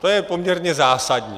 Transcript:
To je poměrně zásadní.